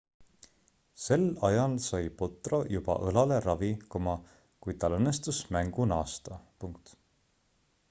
sel ajal sai potro juba õlale ravi kuid tal õnnestus mängu naasta